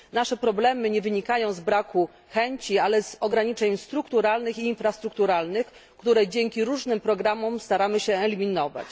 Nasze problemy nie wynikają z braku chęci, ale z ograniczeń strukturalnych i infrastrukturalnych, które dzięki różnym programom staramy się eliminować.